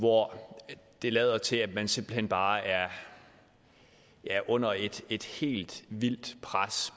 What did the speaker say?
hvor det lader til at man simpelt hen bare er under et et helt vildt pres